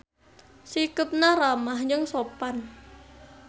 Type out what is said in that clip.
Sikepna ramah jeung sopan.